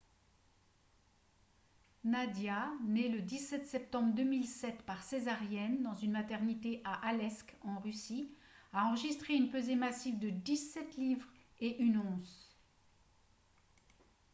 nadia née le 17 septembre 2007 par césarienne dans une maternité à aleisk en russie a enregistré une pesée massive de 17 livres et 1 once